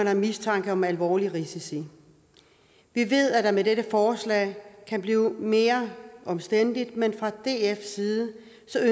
er mistanke om alvorlige risici vi ved at det med dette forslag kan blive mere omstændeligt men fra dfs side